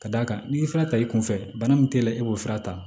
Ka d'a kan n'i y'i fana ta i kunfɛ bana min tɛ e b'o fura ta